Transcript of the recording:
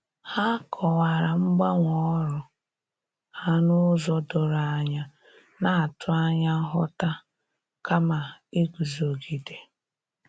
Ha kọwara mgbanwe ọrụ ha n'ụzọ doro anya, na-atụ anya nghọta kama iguzogide.